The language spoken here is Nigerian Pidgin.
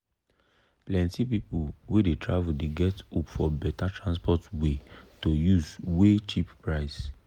plenti people wey dey travel dey get hope for better transport way to use wey cheap price.